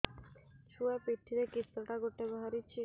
ଛୁଆ ପିଠିରେ କିଶଟା ଗୋଟେ ବାହାରିଛି